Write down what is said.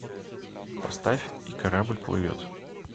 поставь и корабль плывет